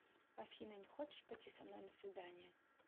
афина не хочешь пойти со мной на свидание